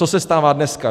Co se stává dneska?